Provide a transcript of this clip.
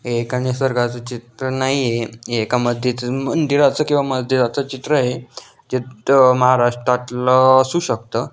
हे एका निसर्गाच चित्र नाहीये हे एका मज्जी मंदिराच किवा मज्जीदाच चित्रय चित्त महाराष्ट्रातल असू शकत.